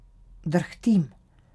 Drhtim.